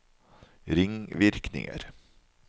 ringvirkninger